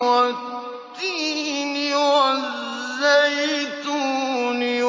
وَالتِّينِ وَالزَّيْتُونِ